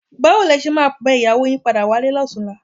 Báwo ni ẹ ṣe máa bẹ ìyàwó yín padà wálé lọ́tùnúnlá?